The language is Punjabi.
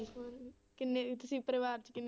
ਹੋਰ ਕਿੰਨੇ ਤੁਸੀਂ ਪਰਿਵਾਰ ਚ ਕਿੰਨੇ